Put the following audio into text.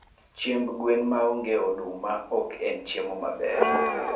Chiemb gwen maonge oduma oken chiemo maber